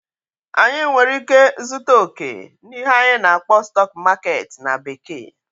anyị nwere ike zụta okè n'ihe anyị na-akpọ "stock market" na bekee